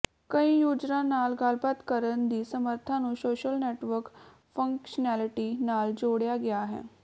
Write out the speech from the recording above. ਕਈ ਯੂਜਰਾਂ ਨਾਲ ਗੱਲਬਾਤ ਕਰਨ ਦੀ ਸਮਰੱਥਾ ਨੂੰ ਸੋਸ਼ਲ ਨੈੱਟਵਰਕ ਫੰਕਸ਼ਨੈਲਿਟੀ ਨਾਲ ਜੋੜਿਆ ਗਿਆ ਹੈ